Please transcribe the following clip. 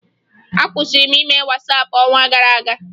Akwụsịrị m ime Wasaapụ n'ọnwa gara aga